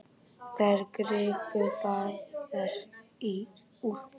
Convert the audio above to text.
Þær gripu báðar í úlpu